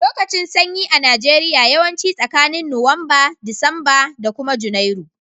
Lokacin sanyi a Najeriya yawanci tsakanin nowamba, Disamba da kuma junairu.